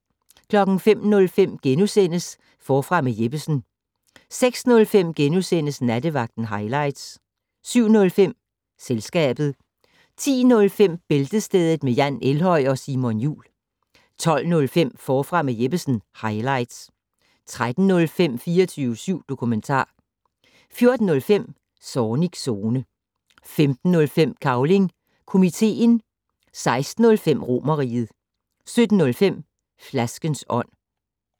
05:05: Forfra med Jeppesen * 06:05: Nattevagten highlights * 07:05: Selskabet 10:05: Bæltestedet med Jan Elhøj og Simon Jul 12:05: Forfra med Jeppesen - highlights 13:05: 24syv dokumentar 14:05: Zornigs Zone 15:05: Cavling Komiteen 16:05: Romerriget 17:05: Flaskens ånd